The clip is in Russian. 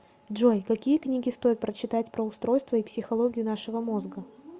джой какие книги стоит прочитать про устройство и психологию нашего мозга